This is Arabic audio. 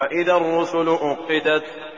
وَإِذَا الرُّسُلُ أُقِّتَتْ